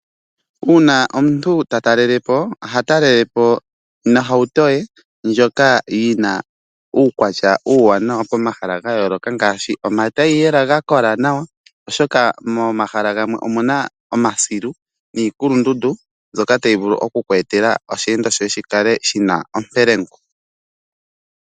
Uuna omuntu ta talelepo, oha talelepo nohauto ye ndjoka yi na uukwatya uuwanawa pomahala ga yooloka ngaashi omagulu ga kola nawa, oshoka momahala gamwe omu na omasilu niikulundundu mbyoka tayi vulu oku kweetela oshiyenditho shoye shi kale shi na ompelengu.